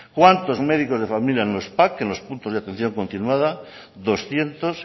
cuántos médicos de familia en los pac en los puntos de atención continuada doscientos